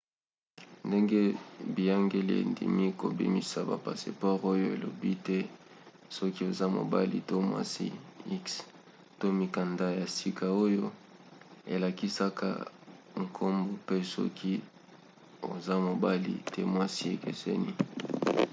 ndenge biyangeli endimi kobimisa ba passeport oyo elobi te soki oza mobali to mwasi x to mikanda ya sika oyo elakisaka nkombo pe soki oza mobali to mwasi ekeseni